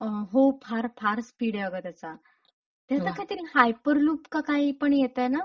अहो फार फार स्पीड ए अग त्याचा. त्याचा काहीतरी हायपरलूप काही पण येतय ना?